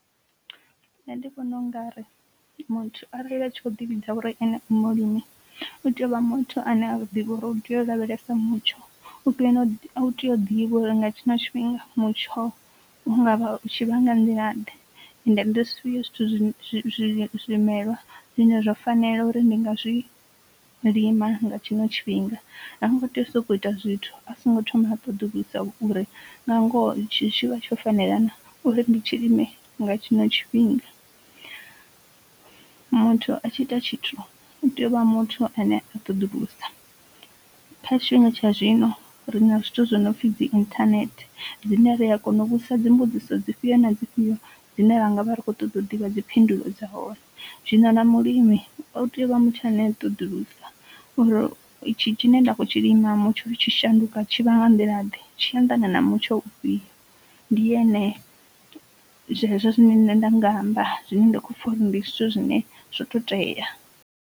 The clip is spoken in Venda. Nṋe ndi vhona u nga ri muthu arali ḽi tshi kho ḓi vhidza uri eṋe mulimi u tea u vha muthu ane a ḓivha uri u tea u lavhelesa mutsho, u tea u tea u ḓivha uri nga tshina tshifhinga mutsho u nga vha u tshi vhanga nḓila ḓe, ende ndi zwifhio zwithu zwi zwimelwa zwine zwo fanela uri ndi nga zwi lima nga tshino tshifhinga ha ngo tea u sokou ita zwithu a songo thoma ha ṱoḓulusa uri nga ngoho itshi tshi vha tsho fanela na uri ndi tshilime nga tshino tshifhinga. Muthu a tshi ita tshithu u tea u vha muthu ane a ṱoḓulusa kha tshifhinga tsha zwino ri na zwithu zwinopfi dzi internet dzine ri a kona u vhudzisa dzi mbudziso dzi fhio na dzi fhio zwine ranga vha ri khou ṱoḓa u ḓivha dziphindulo dza hone, zwino na mulimi u tea u vha muthu ane a ṱoḓulusa uri itshi tshi ne nda khou tshi lima mutsho u tshi shanduka tshi vha nga nḓila ḓe, tshi anḓana na mutsho ufhio, ndi ene zwezwo zwine nṋe nda nga amba zwine nda kho pfha uri ndi zwithu zwine zwo to tea.